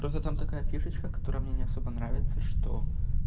просто там такая фишечка которая мне не особо нравится что